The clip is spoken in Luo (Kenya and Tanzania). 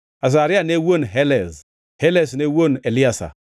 Azaria ne wuon Helez, Helez ne wuon Eliasa,